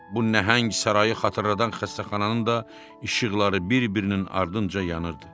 Bu nəhəng sarayı xatırladan xəstəxananın da işıqları bir-birinin ardınca yanırdı.